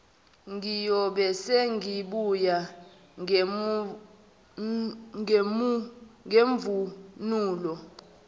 ngiyobe sengibuya nemvunulo